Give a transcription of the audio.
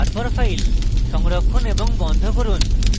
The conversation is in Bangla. তারপর files সংরক্ষণ এবং বন্ধ করুন